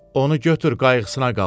Onu götür, qayğısına qal.